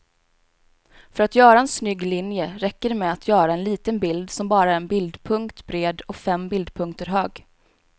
För att göra en snygg linje räcker det med att göra en liten bild som bara är en bildpunkt bred och fem bildpunkter hög.